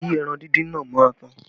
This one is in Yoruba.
Mo ti yí ẹran díndín náà mọ́ ata